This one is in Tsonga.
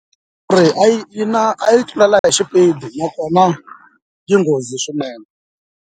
Kuri a yi na a yi tlulela hi xipidi nakona yi nghozi swinene.